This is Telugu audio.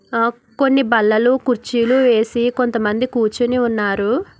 ఆ కొన్ని బల్లలు కుర్చీలు వేసి కొంత మంది కూర్చుని ఉన్నారు.